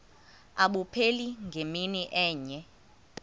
abupheli ngemini enye